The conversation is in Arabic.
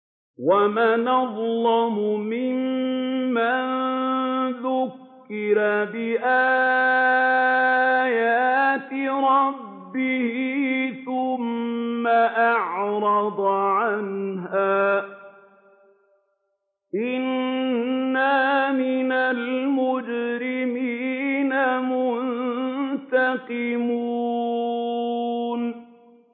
وَمَنْ أَظْلَمُ مِمَّن ذُكِّرَ بِآيَاتِ رَبِّهِ ثُمَّ أَعْرَضَ عَنْهَا ۚ إِنَّا مِنَ الْمُجْرِمِينَ مُنتَقِمُونَ